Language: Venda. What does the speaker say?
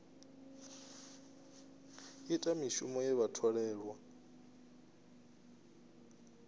ita mishumo ye vha tholelwa